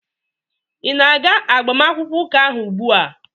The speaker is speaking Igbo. ị na-aga agbamakwụkwọ ụka ahụ ugbua?